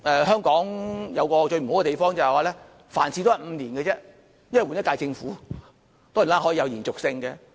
香港有一個最不好的地方，就是每5年便換一屆政府，當然施政是可以有延續性的。